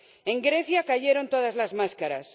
En Grecia cayeron todas las máscaras.